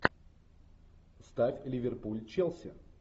ставь ливерпуль челси